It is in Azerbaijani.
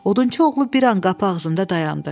Odunçu oğlu bir an qapı ağzında dayandı.